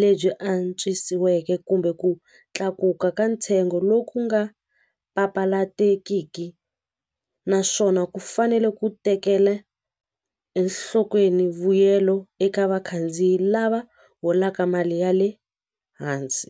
lebyi antswisiweke kumbe ku tlakuka ka ntsengo lowu ku nga papalatekiki naswona ku fanele ku tekela enhlokweni vuyelo eka vakhandziyi lava holaka mali ya le hansi.